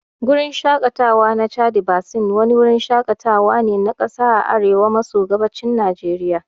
Gurin Shakatawa na Chadi Basin wani wurin shakatawa ne na kasa a arewa maso gabashin Najeriya